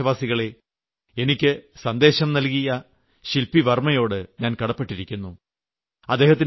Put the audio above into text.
എന്റെ പ്രീയപ്പെട്ട ദേശവാസികളെ എനിക്ക് സന്ദേശം നൽകിയ ശില്പി വർമ്മയോട് ഞാൻ കടപ്പെട്ടിരിക്കുന്നു